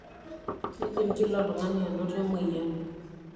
Kindim kila oltungani anoto, emoyian.